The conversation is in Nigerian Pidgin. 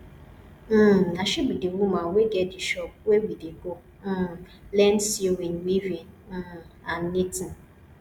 um na she be the woman wey get di shop where we dey go um learn sewing weaving um and knitting